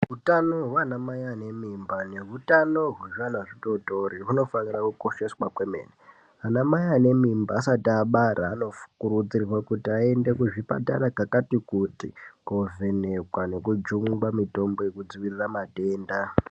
Hutano hwanamai ane mimba nehutano hwezvana zvitori tori hunofanira kukosheswa kwemene. Anamai ane mimba asat abara anokurudzirwe kuti aende kuzvipatara kakati kuti kovhenekwa nekujungwa mitombo yekudzivirira matenda.